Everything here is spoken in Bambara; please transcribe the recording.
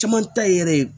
Caman ta ye yɛrɛ ye